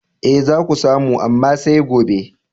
E, za ka samu, amma sai gobe.